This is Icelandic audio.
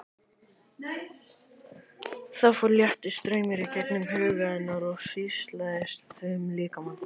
Það fór léttur straumur í gegnum huga hennar og hríslaðist um líkamann.